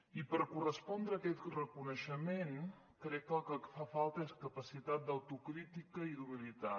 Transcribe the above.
i per correspondre aquest reconeixement crec que el que fa falta és capacitat d’autocrítica i d’humilitat